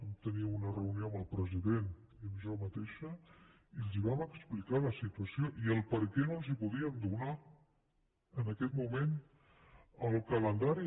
vam tenir una reunió amb el president i amb mi mateixa i els vam explicar la situació i el perquè no els podíem donar en aquest moment el calendari